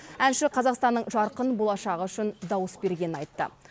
әнші қазақстанның жарқын болашағы үшін дауыс бергенін айтты